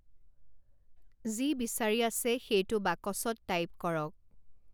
যি বিচাৰি আছে সেইটো বাকচত টাইপ কৰক।